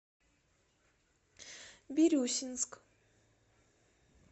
бирюсинск